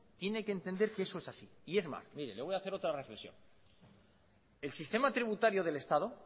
tiene que entender que eso es así y es más mire le voy a hacer otra reflexión el sistema tributario del estado